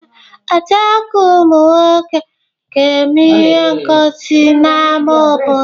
Ee, ọtú egwu ụmụ nwoke ga-eme ihe ngọsi n'ámá obodo.